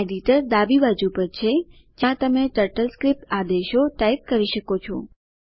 editor ડાબી બાજુ પર છે જ્યાં તમે ટર્ટલસ્ક્રિપ્ટ આદેશો ટાઈપ કરી શકો છો